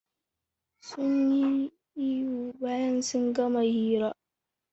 Sunyi ihu bayan sun gama hira.